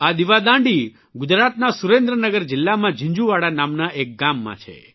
આ દિવદાંડી ગુજરાતના સુરેન્દ્રનગર જિલ્લામાં ઝિંઝુવાડા નામના એક ગામમાં છે